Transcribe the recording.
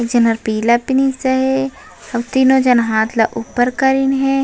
एक झन ह पीला पहिनिस हे आऊ तीनों झन हाथ ला ऊपर करीन हे।